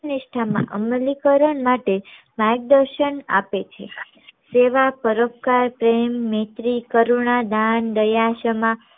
નિષ્ઠા માં અમલીકરણ માટે માર્ગદર્શન આપે છે દેવા પરોપકાર પ્રેમ મૈત્રી કરુણા દાન દયા ક્ષમા